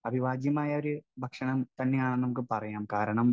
Speaker 1 അവിഭാജ്യമായ ഒരു ഭക്ഷണം തന്നെയാണെന്ന് നമുക്ക് പറയാം. കാരണം,